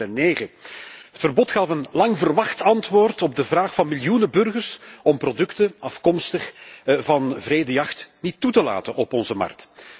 2009. Het verbod gaf een lang verwacht antwoord op de vraag van miljoenen burgers om producten afkomstig van wrede jacht niet toe te laten op onze markt.